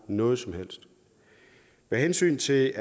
noget som helst med hensyn til